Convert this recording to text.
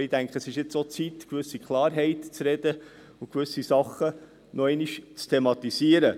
Aber ich denke, es ist nun auch an der Zeit, gewisse Klarheit zu sprechen und gewisse Sachen noch einmal zu thematisieren.